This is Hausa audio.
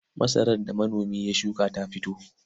Masarar da manomi ya shuka ta fito.